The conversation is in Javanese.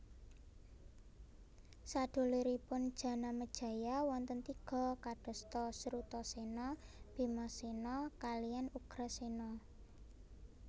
Saduluripun Janamejaya wonten tiga kadosta Srutasena Bimasena kaliyan Ugrasena